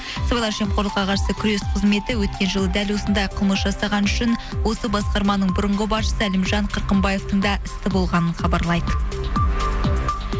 сыбайлас жемқорлыққа қарсы күрес қызметі өткен жылы дәл осындай қылмыс жасаған үшін осы басқарманың бұрынғы басшысы әлімжан қырқымбаевтың да істі болғанын хабарлайды